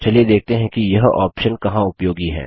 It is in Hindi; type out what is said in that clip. चलिए देखते हैं कि यह ऑप्शन कहाँ उपयोगी है